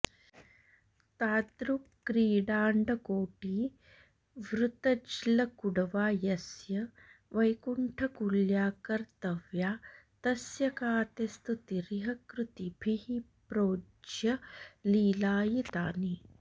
तादृक्क्रीडाण्डकोटीवृतज्लकुडवा यस्य वैकुण्ठकुल्या कर्तव्या तस्य का ते स्तुतिरिह कृतिभिः प्रोज्झ्य लीलायितानि